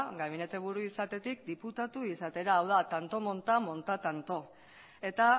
gabinete buru izatetik diputatu izatera hau da tanto monta monta tanto eta